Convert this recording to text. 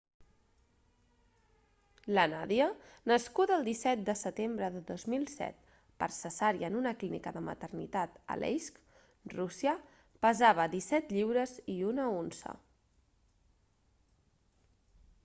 la nadia nascuda el 17 de setembre de 2007 per cesària en una clínica de maternitat a aleisk rússia pesava 17 lliures i 1 unça